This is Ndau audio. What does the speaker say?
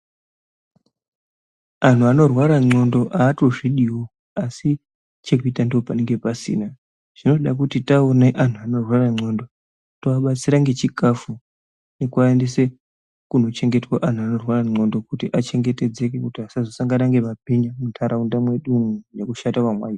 Antu anorwara ngendxondo aatozvidiwo asi chekuita ndopanenge pasina. Zvinoda kuti taone antu anorwara ngendxondo toabatsira ngechikhafu nekuaendese kune antu anorwara ngendxondo kuti asazosangana nemabhinya munharaunda mwedu umwo nekushata kwemwaita.